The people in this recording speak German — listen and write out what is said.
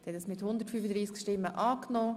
Sie haben Ziffer 3 angenommen.